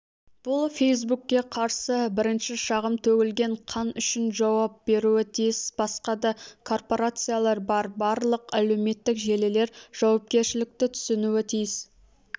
бұл фейсбукке қарсы бірінші шағым төгілген қан үшін жауап беруі тиіс басқа да корпорациялар бар барлық әлеуметтік желілер жауапкершілікті түсінуі тиіс